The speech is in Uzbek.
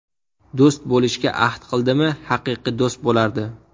Do‘st bo‘lishga ahd qildimi, haqiqiy do‘st bo‘lardi.